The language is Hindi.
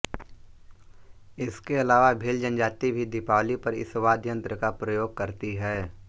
इसके अलावा भील जनजाति भी दिपावली पर इस वाद्य यंत्र का प्रयोग करती है